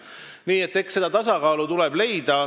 Nii et eks see tasakaal tuleb leida.